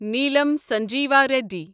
Neelam Sanjiva ready